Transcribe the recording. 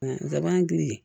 Laban kili